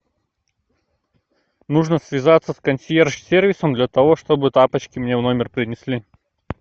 нужно связаться с консьерж сервисом для того чтобы тапочки мне в номер принесли